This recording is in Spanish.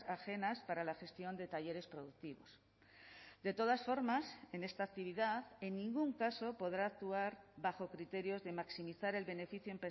ajenas para la gestión de talleres productivos de todas formas en esta actividad en ningún caso podrá actuar bajo criterios de maximizar el beneficio